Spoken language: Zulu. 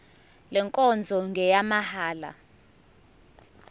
le nkonzo ngeyamahala